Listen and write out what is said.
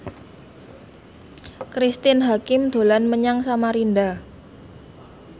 Cristine Hakim dolan menyang Samarinda